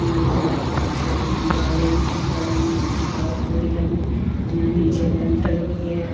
यहाँ कुछ दीवाले भी दिख रहे हैं कुछ पाईप भी लगे नीचे लेंटर भी है।